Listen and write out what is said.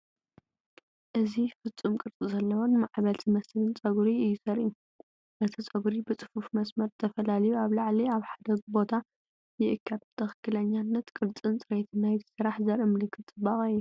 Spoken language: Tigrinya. እዚ ፍጹም ቅርጺ ዘለዎን ማዕበል ዝመስልን ጸጉሪ እዩ ዘርኢ። እቲ ጸጉሪ ብጽፉፍ መስመር ተፈላልዩ ኣብ ላዕሊ ኣብ ሓደ ቦታ ይእከብ። ትኽክለኛነት ቅርጽን ጽሬትን ናይቲ ስራሕ ዘርኢ ምልክት ጽባቐ እዩ።